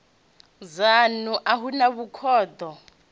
dzanu a hu na vhukhudo